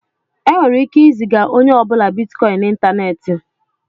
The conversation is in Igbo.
E nwere ike ị ziga onye ọ bụla bitikọin n'Ịntaneti.